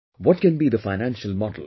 What can be the financial model